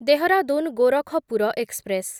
Dehradun Gorakhpur express